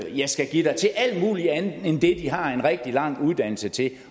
jeg skal give dig til alt muligt andet end det de har en rigtig lang uddannelse til